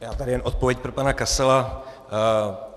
Já tady jen odpověď pro pana Kasala.